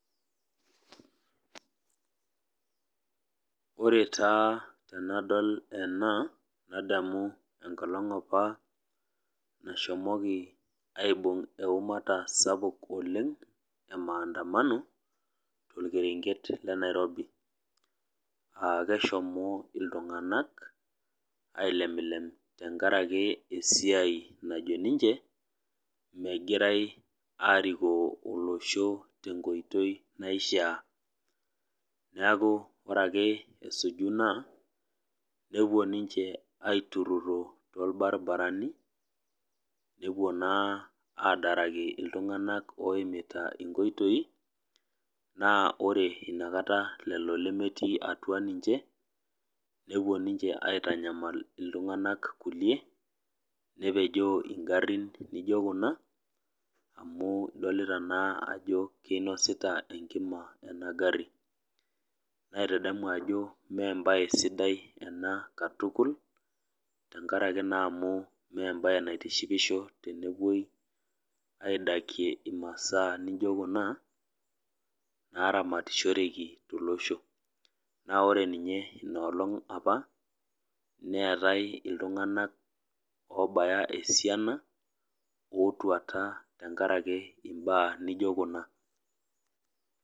Ore taa tenadol ena nadamu enkolong apa nashomoki aibung eumata sapuk oleng emaandamano tokeenket lenairobi aa keshomo iltunganak aileplep tenkaaki esiai najo ninche megirae aikoo olosho tenkoitoi naishiaa . Niaku ore ake esuju ina nepuo ninche aitururo torbaribarani nepuo naa adaraki iltunganak oimita inkoitoi naa ore inakata lelo lemetii atua ninche nepuo ninche aitanyamal iltunganak kulie nepejoo ingarin naijo kuna amu idolita naa ajo kinosita enkima engari naitadamu ajo embae torono katukul tenkaaki naa amu mmee embae naitishipisho tenepuoi aidakie imasaa naijo kuna naamatishoeki tolosho naa ore ninye inoolong apa neetae iltunganak obaya esiana otuata tenkaraki imbaa nijo kuna.